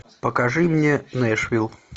покажи мне нэшвилл